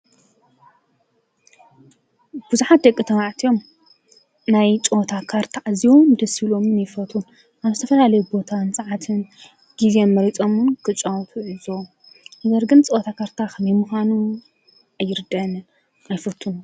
ብዙሓት ደቂ ተባዕትዮ ናይ ጨወታ ካርታ ኣዝዮም ደስ ይብሎም ይፈትዉን ኣብ ዝተፈላለየ ቦታን ሰዓትን ግዘን መርፆም እዉን ክፃወቱ ንዕዘቦም። ነገር ግን ፅወታ ካርታ ከመይ ምኳኑ ኣይርድኣንን ኣይፎቱን ።